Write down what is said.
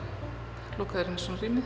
lokaður inni í svona rými